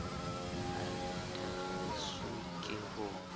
ha le thakgiswe ke ho